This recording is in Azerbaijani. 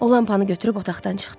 O lampanı gətirib otaqdan çıxdı.